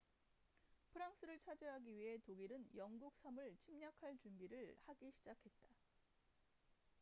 프랑스를 차지하기 위해 독일은 영국 섬을 침략할 준비를 하기 시작했다